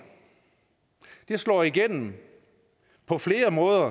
slår igennem på flere måder